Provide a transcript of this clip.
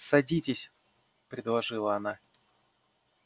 садитесь предложила она